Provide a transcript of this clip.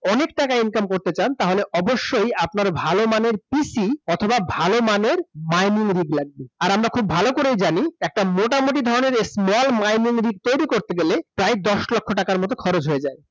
অনেক টাকা income করতে চান তাহলে অবশ্যই আপনার ভাল মানের PC অথবা ভাল মানের mining read লাগবে আর আমরা খুব ভাল করেই জানি একটা মোটামুটি ধরণের small mining read তৈরি করতে গেলে প্রায় দশ লক্ষ টাকার মত খরচ হয়ে যায়।